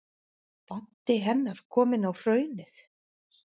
Baddi hennar kominn á Hraunið.